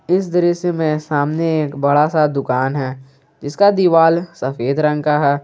इस दृश्य में सामने एक बड़ा सा दुकान है जिसका दीवाल सफेद रंग का है।